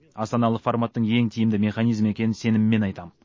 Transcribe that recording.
астаналық форматтың ең тиімді механизм екенін сеніммен айтам